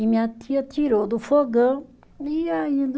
E minha tia tirou do fogão e ia indo